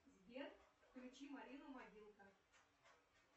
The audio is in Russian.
сбер включи марину мобилка